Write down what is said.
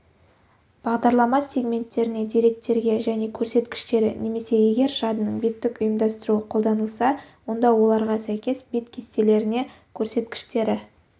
бағдарлама сегменттеріне деректерге және көрсеткіштері немесе егер жадының беттік ұйымдастыруы қолданылса онда оларға сәйкес бет кестелеріне көрсеткіштері